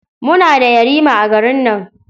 Muna da yarima a garin nan.